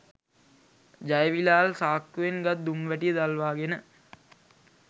ජයවිලාල් සාක්කුවෙන් ගත් දුම් වැටිය දල්වාගෙන